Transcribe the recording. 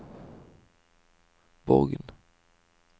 Borgen